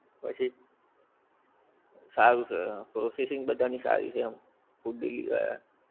પછી. સારું છે પ્રોસેસિંગ બધાની સારી છે એમ, food delivery વાળાં.